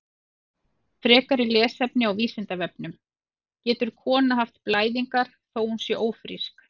Frekara lesefni á Vísindavefnum: Getur kona haft blæðingar þó að hún sé ófrísk?